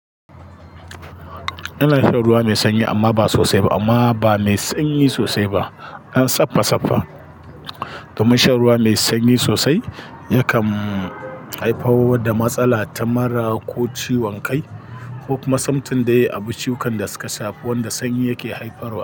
Ina shan ruwa mai sanyi amma ba sosai ba amma ba mai sanyi sosai ba, ɗan saffa-saffa. Domin shan ruwa mai sanyi sosai yakan haifar da matsala ta mura ko ciwon kai ko kuma sumtin dai abu ciwon da suka shafi wanda sanyi yake haifarwa.